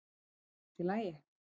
er allt í lagi